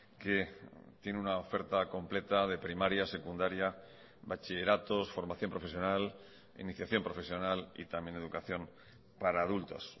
que tiene una oferta completa de primaria secundaria bachilleratos formación profesional iniciación profesional y también educación para adultos